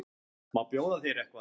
Má bjóða þér eitthvað?